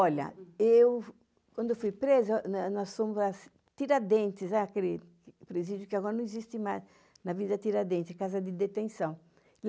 Olha, eu, quando eu fui presa, nós fomos para Tiradentes, aquele presídio que agora não existe mais, na vida Tiradentes, casa de detenção.